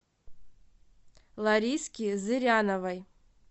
лариски зыряновой